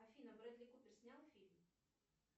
афина брэдли купер снял фильм